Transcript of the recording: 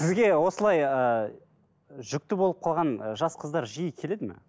сізге осылай ыыы жүкті болып қалған ы жас қыздар жиі келеді ме